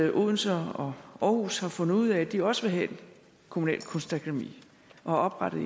at odense og aarhus har fundet ud af at de også vil have et kommunalt kunstakademi og har oprettet